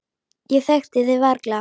Ég þekkti þig varla.